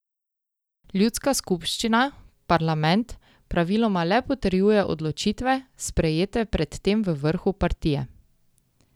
Ljudska skupščina, parlament, praviloma le potrjuje odločitve, sprejete pred tem v vrhu partije.